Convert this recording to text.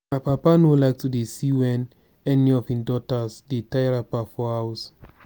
my papa no dey like to see wen any of his daughters dey tie wrapper for house